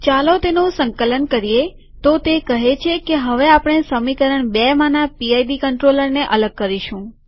ચાલો તેનું સંકલન કરીએતો તે કહે છે કે હવે આપણે સમીકરણ બેમાંના પીડ કંટ્રોલરને અલગ કરીશું